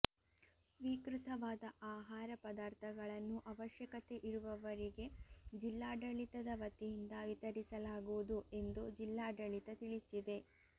ಸ್ವೀಕೃತವಾದ ಆಹಾರ ಪದಾರ್ಥಗಳನ್ನು ಅವಶ್ಯಕತೆ ಇರುವವರಿಗೆ ಜಿಲ್ಲಾಡಳಿತದ ವತಿಯಿಂದ ವಿತರಿಸಲಾಗುವುದು ಎಂದು ಜಿಲ್ಲಾಡಳಿತ ತಿಳಿಸಿದೆ